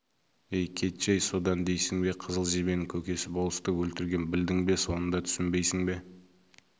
ей кетші-ей содан дейсің бе қызыл жебенің көкесі болысты өлтірген білдің бе соны да түсінбейсің бе